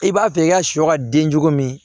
I b'a fɛ i ka sɔ ka den cogo min